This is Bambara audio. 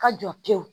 Ka jɔ pewu